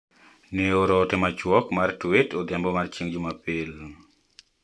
Ne ooro ote machuok mar tweet odhiambo mar chieng` jumapil.